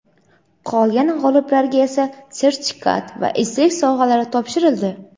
qolgan g‘oliblarga esa sertifikat va esdalik sovg‘alari topshirildi.